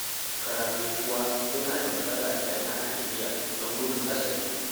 Karatu kuwa yana da matsala idan ana tafiya, don gudun hatsari.